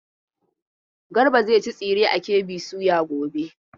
Garba zai ci tsire a KB soya gobe.